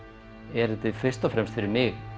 er þetta fyrst og fremst fyrir mig